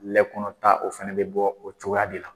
Lɛkɔnɔta o fana bɛ bɔ o cogoya de la